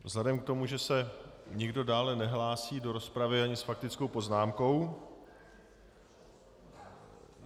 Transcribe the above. Vzhledem k tomu, že se nikdo dále nehlásí do rozpravy ani s faktickou poznámkou.